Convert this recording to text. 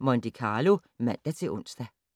Monte Carlo, fortsat (man-ons)